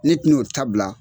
Ne ti n'o ta bila